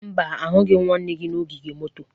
Mba, ahụghị m nwanne gị n'ogige moto.